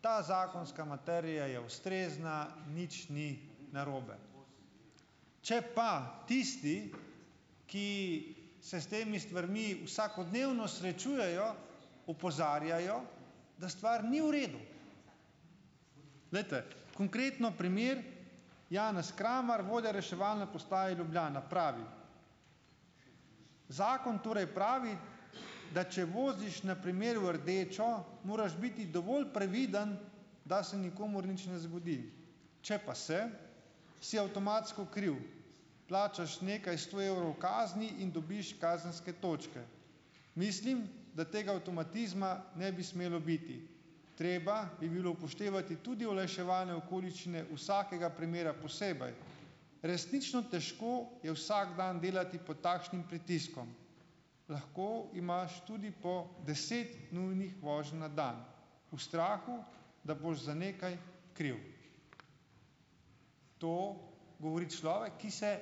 ta zakonska materija je ustrezna, nič ni narobe. Če pa tisti, ki se s temi stvarmi vsakodnevno srečujejo, opozarjajo, da stvar ni v redu. Vendar, konkretno primer, Janez Kramar, vodja reševalne postaje Ljubljana pravi: "Zakon torej pravi, da če voziš na primer v rdečo, moraš biti dovolj previden, da se nikomur nič ne zgodi. Če pa se, si avtomatsko kriv. Plačaš nekaj sto evrov kazni in dobiš kazenske točke. Mislim, da tega avtomatizma ne bi smelo biti. Treba bi bilo upoštevati tudi olajševalne okoliščine vsakega primera posebej. Resnično težko je vsak dan delati pod takšnim pritiskom. Lahko imaš tudi po deset nujnih voženj na dan v strahu, da boš za nekaj kriv." To govori človek, ki se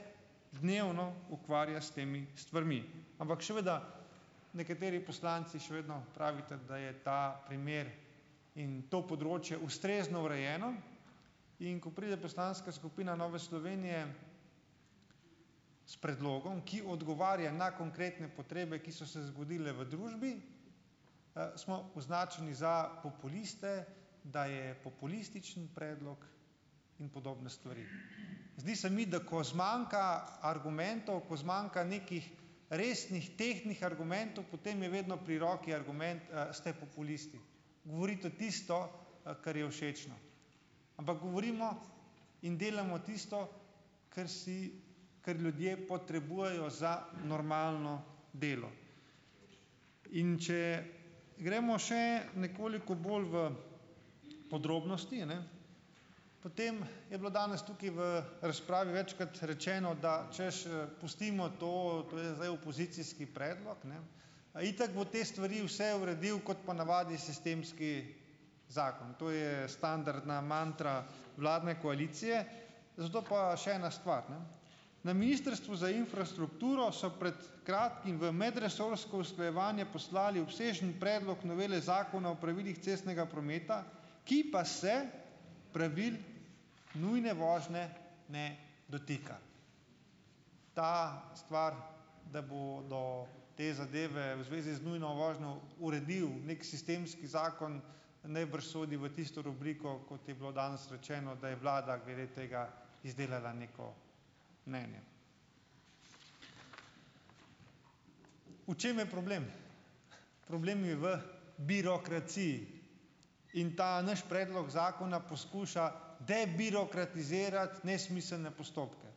dnevno ukvarja s temi stvarmi. Ampak, seveda, nekateri poslanci še vedno pravite, da je ta primer in to področje ustrezno urejeno, in, ko pride poslanska skupina Nove Slovenije s predlogom, ki odgovarja na konkretne potrebe, ki so se zgodile v družbi, smo označili za populiste, da je populističen predlog in podobne stvari. Zdi se mi, da ko zmanjka argumentov, ko zmanjka nekih resnih, tehtnih argumentov, potem je vedno pri roki argument "ste populisti". Govoriti o tisto, kar je všečno. Ampak govorimo in delamo tisto, ker si, kar ljudje potrebujejo za normalno delo. In če gremo še nekoliko bolj v podrobnosti, a ne, potem je bilo danes tukaj v razpravi večkrat rečeno, da, češ, pustimo to, to je zdaj opozicijski predlog, ne. Itak bo te stvari vse uredil, kot ponavadi, sistemski zakon. To je standardna mantra vladne koalicije, zato pa še ena stvar, ne. Na Ministrstvu za infrastrukturo so pred kratkim v medresorsko usklajevanje poslali uspešen predlog novele Zakona o pravilih cestnega prometa, ki pa se pravil nujne vožnje ne dotika. Ta stvar, da bodo te zadeve v zvezi z nujno vožnjo uredil nek sistemski zakon najbrž sodi v tisto rubriko, kot je bilo danes rečeno, da je vlada glede tega izdelala neko mnenje. V čem je problem? Problem je v birokraciji in ta naš predlog zakona poskuša debirokratizirati nesmiselne postopke.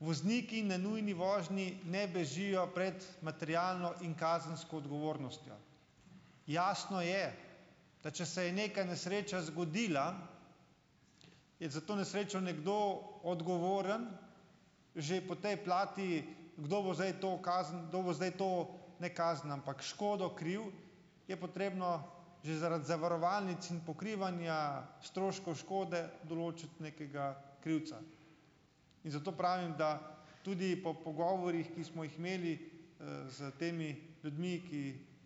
Vozniki na nujni vožnji ne bežijo pred materialno in kazensko odgovornostjo. Jasno je, da če se je neka nesreča zgodila, je za to nesrečo nekdo odgovoren že po tej plati, kdo bo zdaj to kazen, kdo bo zdaj to, ne kazen, ampak škodo kril, je potrebno že zaradi zavarovalnic in pokrivanja stroškov škode določiti nekega krivca. In zato pravim, da tudi po pogovorih, ki smo jih imeli s temi ljudmi, ki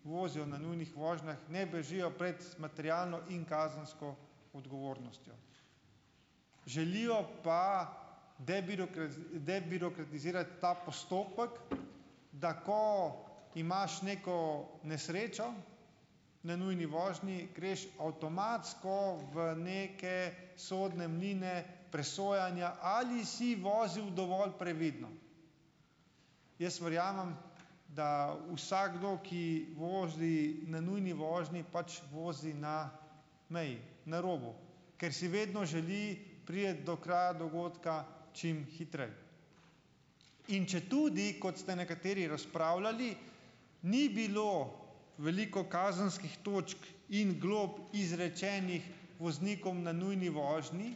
vozijo na nujnih vožnjah, ne bežijo prej materialno in kazensko odgovornostjo. Želijo pa debirokratizirati ta postopek, tako imaš neko nesrečo na nujni vožnji, greš avtomatsko v neke sodne mline presojanja, ali si vozil dovolj previdno. Jaz verjamem, da vsakdo, ki vozi na nujni vožnji, pač vozi na meji. Na robu. Ker si vedno želi priti do kraja dogodka čim hitreje. In četudi, kot ste nekateri razpravljali, ni bilo veliko kazenskih točk in glob izrečenih voznikom na nujni vožnji,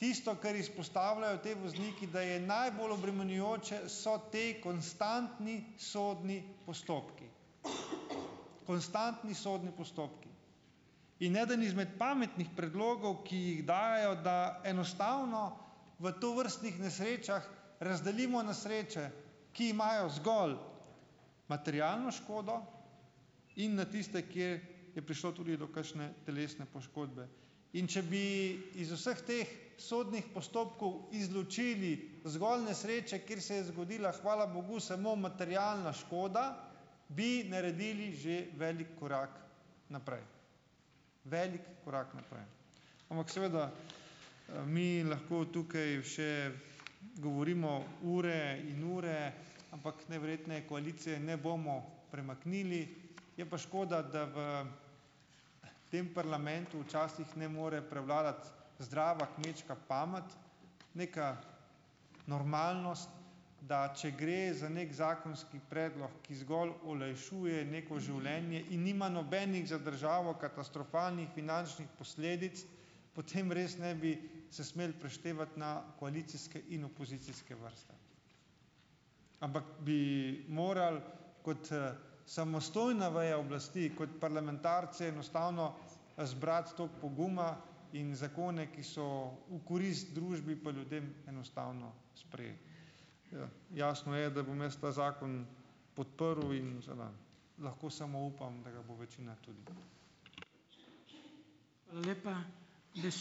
tisto, kar izpostavljajo ti vozniki, da je najbolj obremenjujoče, so ti konstantni sodni postopki. Konstantni sodni postopki. In eden izmed pametnih predlogov, ki jih dajejo, da enostavno v tovrstnih nesrečah razdelimo na sreče, ki imajo zgolj materialno škodo, in na tiste, kjer je prišlo tudi do kakšne telesne poškodbe. In če bi iz vseh teh sodnih postopkov izločili zgolj nesreče, kjer se je zgodila, hvala bogu, samo materialna škoda, bi naredili že velik korak naprej. Velik korak naprej. Ampak seveda, mi lahko tukaj še govorimo ure in ure, ampak najverjetneje koalicije ne bomo premaknili, je pa škoda, da v tem parlamentu včasih ne more prevladati zdrava kmečka pamet, neka normalnost, da če gre za nek zakonski predlog, ki zgolj olajšuje neko življenje in nima nobenih za državo katastrofalnih finančnih posledic, potem res ne bi se smeli preštevati na koalicijske in opozicijske vrste, ampak bi morali kot samostojna veja oblasti in kot parlamentarci enostavno zbrati tako poguma in zakone, ki so v korist družbi pa ljudem, enostavno sprejeli. jasno je, da bom jaz ta zakon podprl, in seveda lahko samo upam, da ga bo večina tudi. Hvala lepa. ...